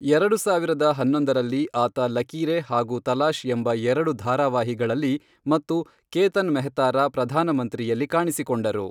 ಎರಡು ಸಾವಿರದ ಹನ್ನೊಂದರಲ್ಲಿ, ಆತ ಲಕೀರೆ ಹಾಗೂ ತಲಾಶ್ ಎಂಬ ಎರಡು ಧಾರಾವಾಹಿಗಳಲ್ಲಿ ಮತ್ತು ಕೇತನ್ ಮೆಹ್ತಾರ ಪ್ರಧಾನ ಮಂತ್ರಿಯಲ್ಲಿ ಕಾಣಿಸಿಕೊಂಡರು .